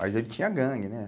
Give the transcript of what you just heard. Mas ele tinha gangue, né?